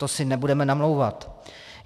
To si nebudeme namlouvat.